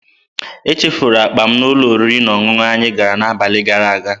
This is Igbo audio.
Echefuru m akpa m n'ụlọ oriri na ọṅụṅụ anyị gara n'abalị gara aga.